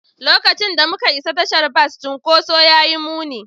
Lokacin da muka isa tashar bas, cunkoson ya yi muni.